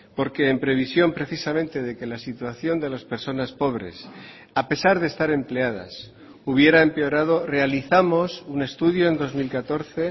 porque en previsión precisamente de que la situación de las personas pobres a pesar de estar empleadas hubiera empeorado realizamos un estudio en dos mil catorce